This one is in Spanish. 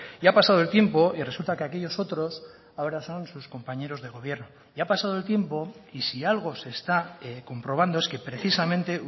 y ha pasado el tiempo y resulta que aquellos otros ahora son sus compañeros de gobierno y ha pasado el tiempo y si algo se está comprobando es que precisamente